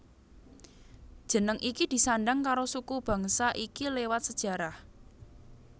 Jeneng iki disandang karo suku bangsa iki lewat sejarah